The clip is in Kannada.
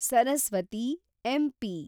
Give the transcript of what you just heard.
ಸರಸ್ವತಿ , ಎಂ‌.ಪಿ